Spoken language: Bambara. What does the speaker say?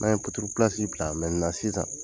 N'an ye puturu bila sisan.